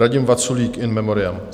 Radim Vaculík, in memoriam.